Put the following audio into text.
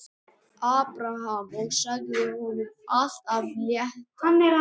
Abraham og sagði honum allt af létta.